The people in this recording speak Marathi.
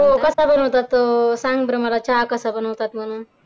हो कसा बनवतात तो सांग बर मला चहा कसा बनवतात म्हणून